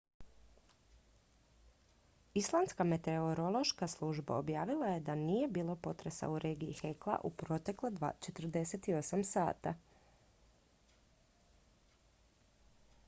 islandska meteorološka služba objavila je da nije bilo potresa u regiji hekla u protekla 48 sata